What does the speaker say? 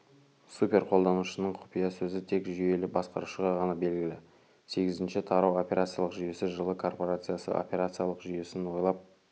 супер қолданушының құпия сөзі тек жүйелі басқарушыға ғана белгілі сегізінші тарау операциялық жүйесі жылы корпорациясы операциялық жүйесін ойлап